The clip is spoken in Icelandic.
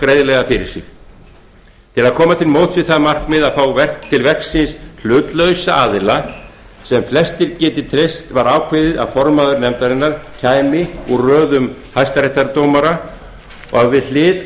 greiðlega fyrir sig til að koma til móts við það markmið að fá til verksins hlutlausa aðila sem flestir geti treyst var ákveðið að formaður nefndarinnar kæmi úr röðum hæstaréttardómara og að við hlið